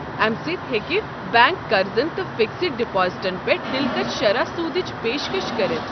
امہِ سۭتۍ ہیٚکہِ بنٛک قرضن تہٕ فکسڈ ڈپازٹن پٮ۪ٹھ دلکش شرح سوٗدٕچ پیشکش كرِتھ۔